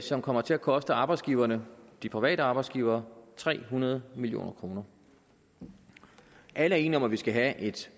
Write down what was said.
som kommer til at koste arbejdsgiverne de private arbejdsgivere tre hundrede million kroner alle er enige om at vi skal have et